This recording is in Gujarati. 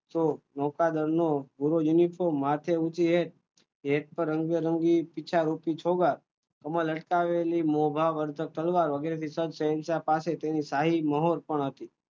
તો મોટા ઘરનું માથે મૂકીને આમાં લટકાવેલી તલવારો વગેરે શહેનશા પાસે તેમ શાહી મહોર પણ હતી